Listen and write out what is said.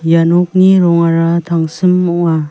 ia nokni rongara tangsim ong·a.